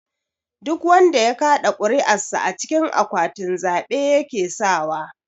Duk wanda ya kaɗa kuri'ar sa a cikin akwatin zabe yake sawa.